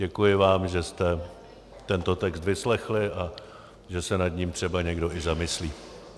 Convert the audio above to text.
Děkuji vám, že jste tento text vyslechli a že se nad ním třeba někdo i zamyslí.